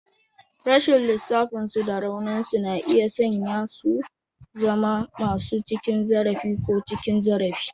Rashin laifinsu da rauninsu na iya sanya su zama masu cin zarafi ko cin zarafi.